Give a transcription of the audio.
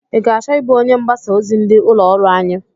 I ga-achọ ịbụ onye mgbasa ozi ndị ụlọ ọrụ anyị?